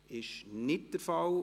– Dies ist nicht der Fall.